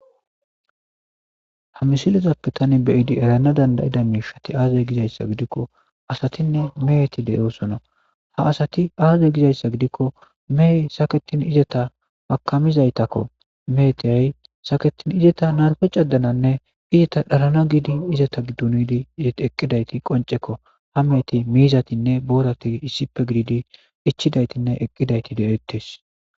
Ha misilizappe tani beyidi erana dandayida miishati aazay gizayssa gidikko asatinne meeti deyoosono ha asati aazay gizayssa gidikko mehy saketin izeta makamizaytakko meetiyay saketin izata narfe cadananne izata dhalana giidi izata gidduniidi izeti eqqidayti qoncekko ha meeti miizatinne boorati issipe giidi ichidaytinne eqqidayti de'ettes.